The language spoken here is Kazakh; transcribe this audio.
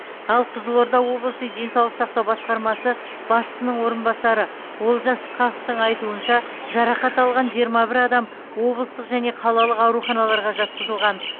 ал қызылорда облысы денсаулық сақтау басқармасы басшысының орынбасары олжас ысқақовтың айтуынша жарақат алған жиырма бір адам облыстық және қалалық ауруханаларға жатқызылған